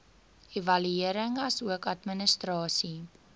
evaluering asook administrasie